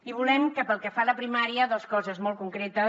i volem pel que fa a la primària dos coses molt concretes